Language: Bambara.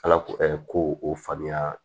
Ala ko ko o faamuya